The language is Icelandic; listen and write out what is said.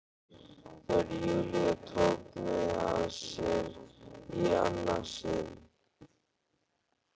Þegar Júlía tók mig að sér í annað sinn.